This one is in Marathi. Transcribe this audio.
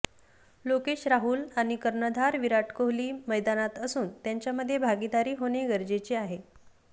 लोकेश राहुल आणि कर्णधार विराट कोहली मैदानात असून त्यांच्यामध्ये भागीदारी होणे गरजेचे आहे